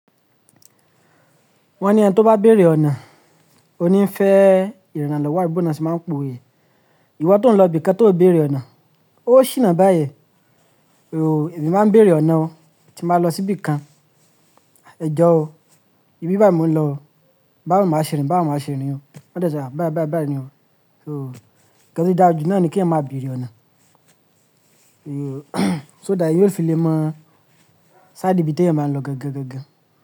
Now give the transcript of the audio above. Wọ́n ní ẹni tí ó bá béèrè ọ̀nà, ó ní fẹ́ ìrànlọ́wọ́ àbí bo o lo ṣe máa ń pa òwe yẹn. Ìwọ tó ń lọ ibìkan tí ó béèrè ọ̀nà, ó ṣìnà bá yen. Oò, èmi máa ń béèrè ọ̀nà o, tí máa lọ sí ibìkan. Ẹ jọ o, ibi báyìí mo ń lọ o, báwo màá ṣe rìn, báwo màá ṣe rìn o? Wọ́n dẹ̀ se ah, bái, bái, bai ni o o n to dájú náà ni kí eeyan máa béèrè ọ̀nà oò, so that yóò fi lè mọ̀, side ibi tí eeyan bá ń lọ gangan.